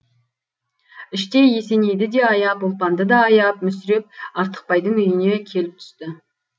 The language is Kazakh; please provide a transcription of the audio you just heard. іштей есенейді де аяп ұлпанды да аяп мүсіреп артықбайдың үйіне келіп түсті